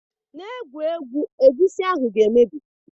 Na egwu egwu, egusi ahụ ga emebi